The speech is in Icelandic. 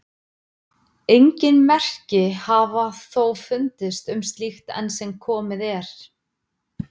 Engin merki hafa þó fundist um slíkt enn sem komið er.